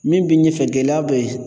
Min b'i ɲɛfɛ, gɛlɛya be yen